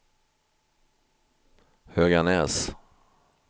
Höganäs